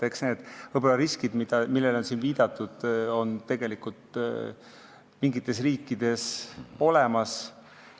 Eks need riskid, millele on siin viidatud, on tegelikult mingites riikides olemas.